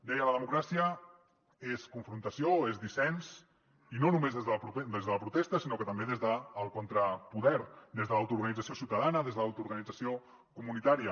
deia la democràcia és confrontació és dissensió i no només des de la protesta sinó també des del contrapoder des de l’autoorganització ciutadana des de l’autoorganització comunitària